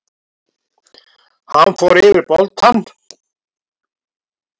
Hann fór yfir boltann.